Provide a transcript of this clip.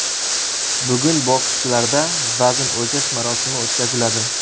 Bugun bokschilarda vazn o‘lchash marosimi o‘tkaziladi.